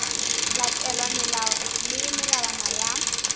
latelwa melao le melawana ya